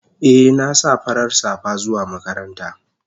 Eh na sa farar safa zuwa makaranta.